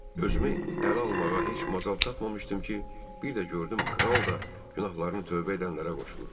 Özümü ələ almağa heç macal tapmamışdım ki, bir də gördüm kral da günahlarını tövbə edənlərə qoşulub.